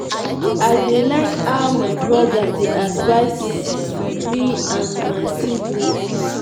i dey like how my broda dey advice advice me and my siblings